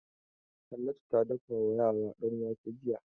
Hannatu ta dafa wa yara danwake jiya.